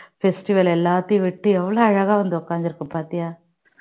festival எல்லாத்தையும் விட்டுட்டு எவ்வளவு அழகா வந்து உட்கார்ந்திருக்கு பாத்தியா